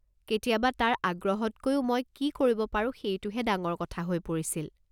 কেতিয়াবা তাৰ আগ্ৰহতকৈও মই কি কৰিব পাৰো সেইটোহে ডাঙৰ কথা হৈ পৰিছিল।